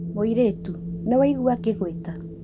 Mũirĩtu, nĩ waigua ngĩgwĩta